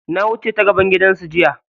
Na wuce ta gaban gidansu jiya.